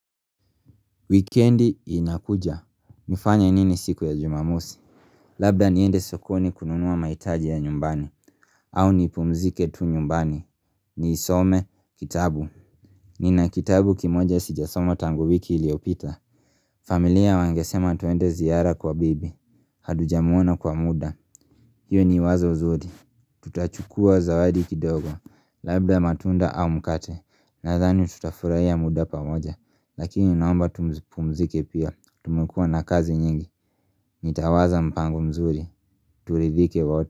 Weekendi inakuja. Nifanye nini siku ya jumamosi? Labda niende sokoni kununua mahitaji ya nyumbani. Au ni pumzike tu nyumbani. Nisome, kitabu. Nina kitabu kimoja sijasoma tangi wiki iliyopita. Familia wangesema twende ziara kwa bibi. Hatuja muona kwa muda. Hiyo ni wazo zuri. Tutachukua zawadi kidogo. Labda matunda au mkate. Nadhani tutafurahia muda pamoja. Lakini naomba tupumzike pia, tumekuwa na kazi nyingi, nitawaza mpango mzuri, turidhike wote.